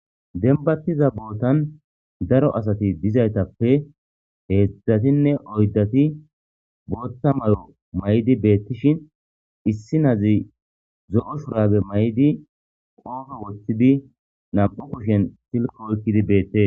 denbattiza bootan daro asati dizaytappe heedzdzatinne oyddati bootta mayo may7di beettishin issi nazi zo7o shurabe may7di qoofe woththidi nam7u kushen silko oykkidi beette